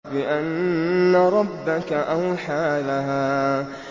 بِأَنَّ رَبَّكَ أَوْحَىٰ لَهَا